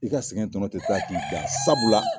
U ka sɛgɛn tɔnɔ tɛ taa k'i dan sabula.